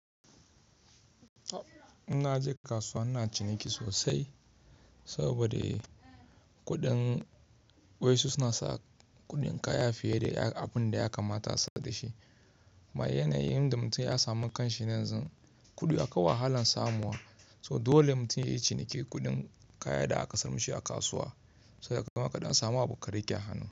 Inna je kasuwa ina ciniki sosai saboda kuɗin wasu suna sa kuɗin kaya fiye da abin da ya kamata su saka da shi. Bayan yanayin da mutum ya sami kanshi nan zan kulla wahalan samuwa. So dole mutum yayi cinikin kuɗin kayan da aka samu misi a kasuwa saboda gama kaɗan samuwa abu karike a hannu.